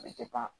A bɛ